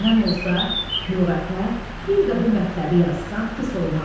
Elə məndən olsa, lüğətə bir də bu mətləbi yazsan pis olmaz.